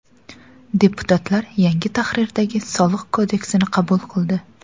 Deputatlar yangi tahrirdagi soliq kodeksini qabul qildi.